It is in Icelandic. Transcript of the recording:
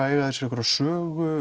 eiga þeir sér einhverja sögu